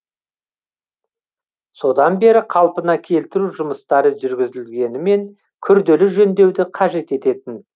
содан бері қалпына келтіру жұмыстары жүргізілгенімен күрделі жөндеуді қажет ететін